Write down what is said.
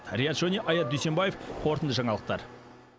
риат шони аят дүйсембаев қорытынды жаңалықтар